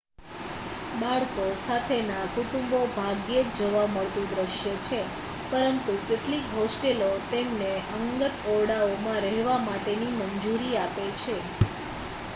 બાળકો સાથેના કુટુંબો ભાગ્યે જ જોવા મળતું દ્રશ્ય છે પરંતુ કેટલીક હોસ્ટેલો તેમને અંગત ઓરડાઓમાં રહેવા માટેની મંજૂરી આપે છે